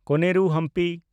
ᱠᱚᱱᱮᱨᱩ ᱦᱟᱢᱯᱤ